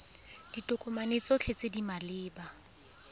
ditokomane tsotlhe tse di maleba